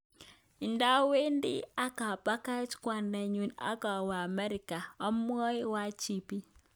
Ndawedi akapakach kwondngu akawe amerika, omwae IGP.